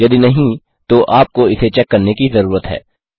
यदि नहीं तो आपको इसे चेक करने की जरूरत है